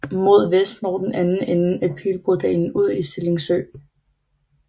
Mod vest når den anden ende af Pilbrodalen ud i Stilling Sø